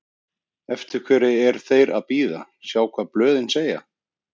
Eftir hverju er þeir að bíða, sjá hvað blöðin segja?